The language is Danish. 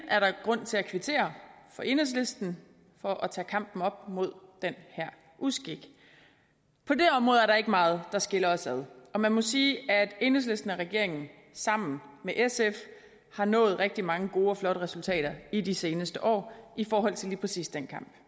er der grund til at kvittere enhedslisten for at tage kampen op imod den her uskik på det område er der ikke meget der skiller os ad og man må sige at enhedslisten og regeringen sammen med sf har nået rigtig mange gode og flotte resultater i de seneste år i forhold til lige præcis den kamp